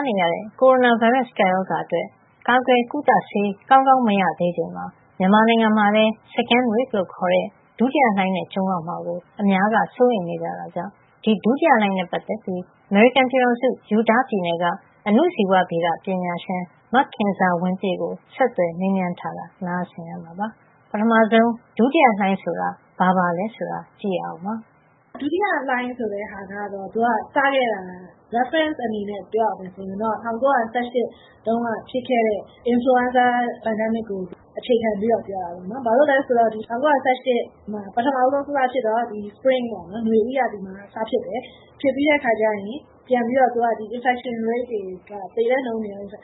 းနေရတဲ့ ကိုရိုနာဗိုင်းရပ်စ် ကပ်ရောဂါအတွက် ကာကွယ်ကုသဆေး ကောင်းကောင်း မရသေးချိန်မှာ မြန်မာနိုင်ငံမှာလည်း Second wave လို့ ခေါ်တဲ့ ဒုတိယလှိုင်းနဲ့ ကြုံရမှာကို အများက စိုးရိမ်နေကြတာကြောင့် ဒီဒုတိယလှိုင်းနဲ့ပတ်သက်ပြီး အမေရိကန်ပြည်ထောင်စု Utah ပြည်နယ်က အဏုဇီဝဗေဒပညာရှင် မခင်ဇာဝင်းပြည့်ကို ဒေါ်ခင်မျိုးသက်က ဆက်သွယ်မေးမြန်းထားတာ နားဆင်ရမှာပါ။ ပထမဆုံး ဒုတိယလှိုင်းဆိုတာကို သူက အခုလို စရှင်းပြပါတယ်။ ဒုတိယလှိုင်းဆိုတာက သူက စခဲ့တာ reference အနေနဲ့ ပြောရမယ်ဆိုရင်တော့ ၁၉၁၈ တုန်းက ဖြစ်ခဲ့တဲ့ Influenza Pandemic ကို အခြေခံပြီးတော့ ပြောတာပေါ့နော်။ ဘာလို့လဲဆိုတော့ ၁၉၁၈ တုန်းက စဖြစ်တော့ Spring ပေါ့နော် နွေဦးရာသီမှာ စဖြစ်တယ်၊ ဖြစ်ပြီးတဲ့အခါကျရင် သူက infection rate တွေ သေနှှုန်းတွေက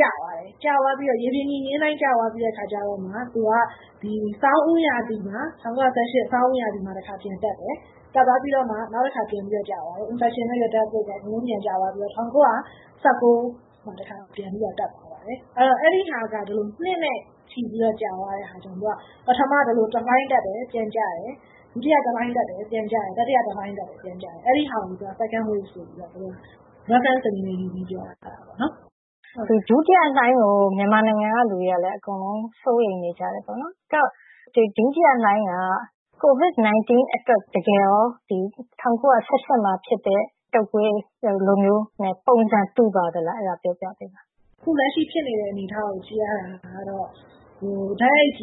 ကျသွားတယ်။ ရေပြင်ညီမျဉ်းအတိုင်း ကျသွားပြီးတဲ့အခါကျမှ သူက ၁၉၁၈ ဆောင်းဦးရာသီမှာ တခါ ပြန်တက်တယ်။ တက်သွားပြီးတော့ နောက်တခါ ပြန်ကျသွားတယ်။ infection rate နဲ့ death rate က ကျသွားပြီးတော့ ၁၉၁၉ မှာ တခါပြန်ပြီးတော့ တက်သွားတာပေါ့နော် အဲဒီဟာက ဒီလို နှစ်နဲ့ ချီပြီးတော့ ကြာသွားတဲ့အခါကျတော့ ပထမ ဒီလို တလှိုင်းတက်တယ်၊ ပြီးတော့ ပြန်ကျတယ်။ ဒုတိယလှိုင်းတက်တယ် ၊ ပြန်ကျတယ်။ တတိယ တလှိုင်းတက်တယ် ၊ ပြန်ကျတယ် အဲဒါကို သူက Second wave ဆိုပြီးတော့ သုံးတာပါ ဒါက reference အနေနဲ့ပြောတာပေါ့နော်။ ဒုတိယလှိုင်းကို မြန်မာပြည်ကလူတွေလည်း စိုးရိမ်နေကြတယ်ပေါေ့နာ်။ အဲဒီတော့ ဒုတိယလှိုင်းက COVID-19 အတွက် ၁၉၁၈ တုန်းကဖြစ်တဲ့ တုပ်ကွေးလိုမျိုးနဲ့ ပုံစံတူပါသလား အဲဒါလေး ပြောပြပေးပါ။ အခုလက်ရှိဖြစ်နေတဲ့ အနေအထားကို ကြည့်ရတာကတော့ တိုက်ရိုက်တူ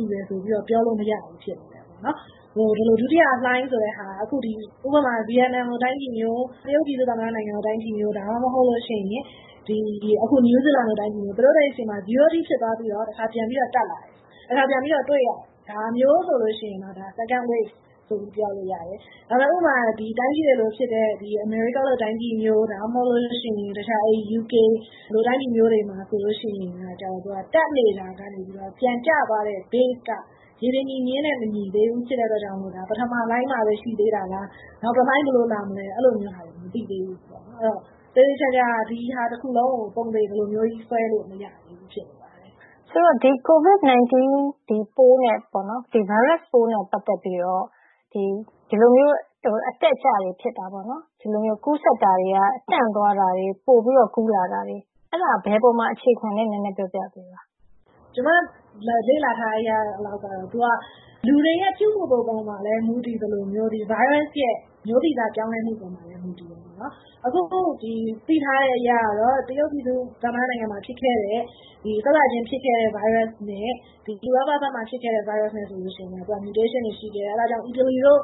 တယ်လို့ ပြောလို့မရဘူးဖြစ်နေတယ်။ ဒုတိယလှိုင်းဆိုတာက Vietnam လိုတိုင်းပြည်မျိုး ၊ တရုတ်ပြည်သူ့ သမ္မတနိုင်ငံလို တိုင်းပြည်မျိုး ၊ ဒါမှမဟုတ်ရင် New Zealand လိုတိုင်းပြည်မျိုး သူတို့တွေဆီမှာ zero အထိဖြစ်သွားပြီးတော့ တခါပြန်တက်လာတယ်။ ဒါမျိုးဆိုရင် Second wave ဆိုပြီးတော့ ပြောလို့ရပါတယ်။ ဥပမာ အမေရိကန်လိုတိုင်းပြည်မျိုး၊ UK လိုတိုင်းပြည်မျိုးဆိုရင် တက်နေတာကနေ ပြန်ကျသွားတဲ့ base က ရေပြင်ညီမျဉ်းနဲ့ မညီသေးတာဖြစ်တဲ့အတွက် ဒါက ပထမလှိုင်းမှာပဲ ရှိသေးတာလား နောက်တလှိုင်းဘယ်လိုလာမလဲ၊ အဲလိုမျိုးဟာတွေ မသိသေးဘူးပေါ့နော်။ ဆိုတော့ သေသေချာချာ ဒါတခုလုံးကို ပုံသေဆွဲလို့ မရသေးဘူးပေါ့နော်။ COVID-19 ဗိုင်းရပ်ပိုးနဲ့ ပတ်သက်ပြီးတော့ဒီလို အတက်အကျတွေဖြစ်တာပေါ့နော် ။ ကူးစက်တာတွေက တန့်သွားတာတွေ၊ ပိုပြီးတော့ ကူးလာတာတွေ အဲဒါ ဘယ်အပေါ်မှာ အခြေခံသလဲ နည်းနည်းပြောပြပါ။ ကျမလေ့လာထားတဲ့အရကတော့ သူက လူတွေရဲ့ ပြုမှုပုံမှာလည်း မူတည်သလိုမျိုး Virus ရဲ့ မျိုးဗီဇပြောင်းလဲမှုပေါ်မှာလည်း မူတည်တယ်။ အခုသိထားတဲ့အရ တရုတ်ပြည်သူ့သမ္မတနိုင်ငံမှာ စစချင်းဖြစ်ခဲ့တဲ့ ဗိုင်းရပ်စ်နဲ့ ဥရောပမှာ ဖြစ်ခဲ့တဲ့ ဗိုင်းရပ်စ်နဲ့ သူက Mutation တွေရှိတယ်။ အဲဒါကြောင့် အီတလီတို့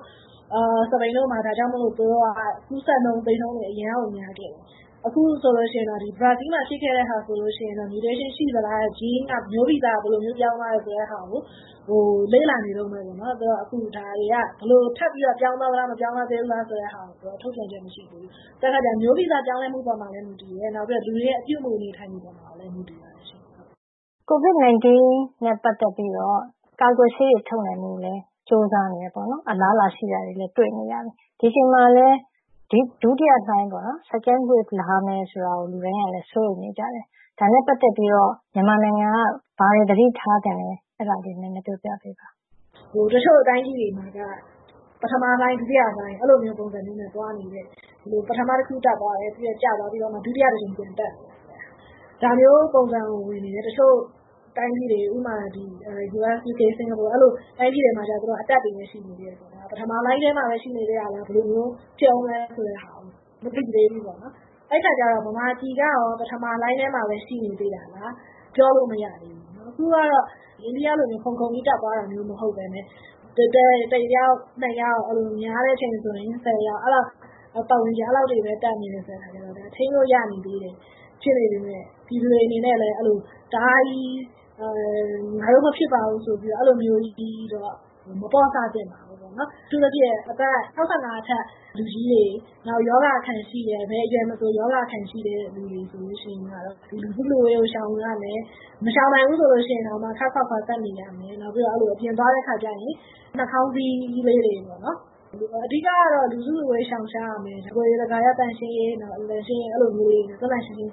စပိန်တို့မှာ ဒါကြောင့်မို့ ကူးစက်နှုန်းသေနှုန်းတွေ အရမ်းများခဲ့တယ်။ အခုဆိုရင် ဘရာဇီးမှာ ဖြစ်ခဲ့တာဆိုရင် Mutation ရှိသလား မျိုးဗီဇဘယ်လိုမျိုး ပြောင်းသွားသလဲဆိုတာကို လေ့လာနေတုန်းပဲပေါ့နော်။ အခုဒါတွေက ဘယ်လိုထပ်ပြီးတော့ ပြောင်းသွားသလား၊ မပြောင်းလဲသေးဘူးလားဆိုတာ သူက ထုတ်ပြန်ချက်မရှိသေးဘူး။ ဆိုတော့ မျိုးဗီဇပြောင်းလဲမှုပေါ်မှာလည်း မူတည်တယ်၊ လူတွေရဲ့ ပြုမှုနေထိုင်ပုံမှာလည်း မူတည်ပါတယ်ရှင့်။ COVID-19 နဲ့ ပတ်သက်ပြီးတော ကာကွယ်ဆေးတွေလည်း ထုတ်နိုင်ဖို့ ကြိုးစားတယ်ပေါေ့နာ်။ အလားအလာရှိတာတွေလည်း တွေ့နေရတယ်။ ဒီအချိန်မှာလည်း ဒုတိယလှိုင်း Second wave လာမယ် ဆိုပြီးတော့ လူတိုင်က စိုးရိမ်နေတယ်။ ဒါနဲ့ ပတ်သက်ပြီးတော့ မြန်မာနိုင်ငံက ဘာတွေ သတိထားသင့်သလဲ အဲဒါ နည်းနည်းပြောပြပေးပါ။ တချို့တိုင်းပြည်တွေမှာက ပထမလှိုင်း၊ ဒုတိယလှိုင်း အဲလိုပုံစံတွေနဲ့ သွားနေတယ်။ ပထမတခုတက်သွားတယ်၊ ကျသွားပြီးတော့ ဒုတိယတကြိမ် ပြန်တက်တယ်။ ဒါမျိုးပုံစံတွေ ဝင်နေတယ်၊ တချို့တိုင်းပြည်တွေ ဥပမာ - US ဖြစ်ဖြစ် Singapore တွေမှာတော့ အတက်တွေပဲ ရှိနေသေးတယ်ဆိုတော့ ဒါက ပထမလှိုင်းထဲမှာပဲ ရှိနေသေးတာလား ဘယ်လိုဖြစ်ဦးမလဲဆိုတာ မသိသေးဘူးပေါ့နော်။ အဲဒီအခါကျတော့ မြန်မာပြည်ကရော ပထမလှိုင်းထဲမှာပဲ ရှိနေသေးတာလား ပြောလို့မရသေးဘူးပေါ့နော် ။အခုကတော့ အိန္ဒိယလိုမျိုး ခုန်ခုန်ပြီး တက်သွားတာမဟုတ်ပဲနဲ့ တယောက်၊ နှစ်ယောက် များတဲ့အချိန်ဆိုရင် ၁၀ ယောက်ပတ်ဝန်းကျင် အဲဒီလောက်ပဲ တက်နေတယ်ဆိုတော့ ဒါက ထိန်းလို့ရတယ် ဖြစ်နေသေးပေမယ့် ပြည်သူတွေအနေနဲ့လည်း ငါတို့မဖြစ်ပါဘူးဆိုပြီးတော့ အဲလိုမျိုး မပေ့ါဆသင့်ပါဘူး။ အထူးသဖြင့် အသက် ၆၅ နှစ်အထက် လူကြီးတွေ ၊ ဘယ်အရွယ်မဆို ရောဂါအခံရှိတဲ့လူတွေ ဆိုရင် လူစုလူဝေးကို ရှောင်ရမယ် ၊ မရှောင်နိုင်ရင် ခပ်ခွာခွာနေရမယ်။ နောက်ပြီးတော့ အပြင်သွားတဲ့ အခါကျရင် နှာခေါင်းစည်းလေးတွေ တပ်ရမယ်။ အဓိကတော့ လူစုလူဝေးကို ရှောင်ရမယ်၊ တကိုယ်ရည်သန့်ရှင်းရေး အဲလိုမျိုး သန့်သန့်ရှင်းရှင်း